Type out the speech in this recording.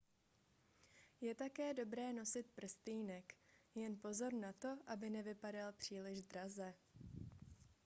je také dobré nosit prstýnek jen pozor na to aby nevypadal příliš draze